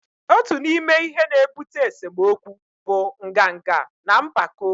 otu n'ime ihe na-ebute esemokwu bụ nganga na mpako